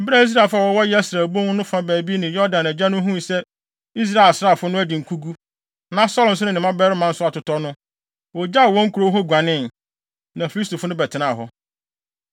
Bere a Israelfo a wɔwɔ Yesreel bon no fa baabi ne Yordan agya no huu sɛ Israel asraafo no adi nkogu, na Saulo nso ne ne mmabarima no nso atotɔ no, wogyaw wɔn nkurow hɔ guanee. Na Filistifo no bɛtenaa hɔ.